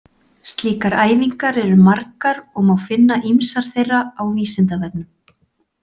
Slíkar æfingar eru margar og má finna ýmsar þeirra á Vísindavefnum.